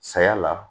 Saya la